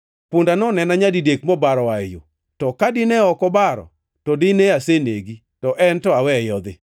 Punda nonena nyadidek mobaro oa yo. To ka dine ok obaro, to dine asenegi, to en to aweye odhi.”